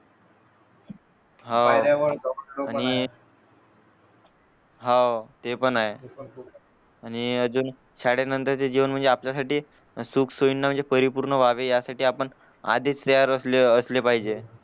आणि हाव ते पण ये आणि अजून शाळेनंतर चे जीवन म्हणजे आपल्यासाठी सुख सोईंना म्हणजे परिपूर्ण व्हावे यासाठी आपण आधीच पाहिजे